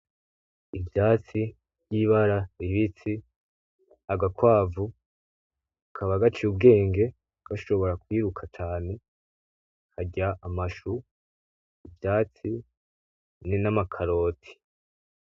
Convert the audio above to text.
Ivyatsi vyivara ribisi, agakwavu Kaba gaciye ubwenge , gashobora kwiruka cane , karya amashu , ivyatsi namakaroti .